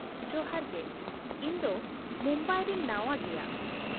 ᱡᱚᱦᱟᱨ ᱜᱮ, ᱤᱧ ᱫᱚ ᱢᱩᱢᱵᱟᱭ ᱨᱤᱧ ᱱᱟᱶᱟ ᱜᱮᱭᱟ ᱾